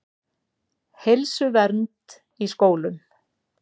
Heilsuvernd í skólum.